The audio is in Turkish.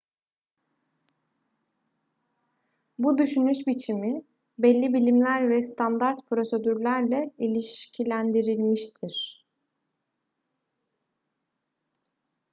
bu düşünüş biçimi belli bilimler ve standart prosedürlerle ilişkilendirilmiştir